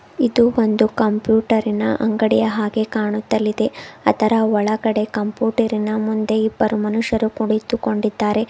ಇದು ಒಂದು ಕಂಪ್ಯೂಟರಿನ ಅಂಗಡಿಯ ಹಾಗೆ ಕಾಣುತ್ತಲಿದೆ ಅದರ ಒಳಗಡೆ ಕಂಪ್ಯೂಟರಿನ ಮುಂದೆ ಇಬ್ಬರು ಮನುಷ್ಯರು ಕುಳಿತುಕೊಂಡಿದ್ದಾರೆ.